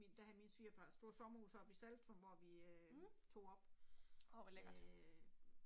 Min da havde min svigerfar et stort sommerhus oppe i Saltum hvor vi øh tog op øh